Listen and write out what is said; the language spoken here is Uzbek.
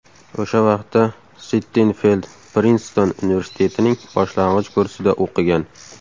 O‘sha vaqtda Sittenfeld Prinston universitetining boshlang‘ich kursida o‘qigan.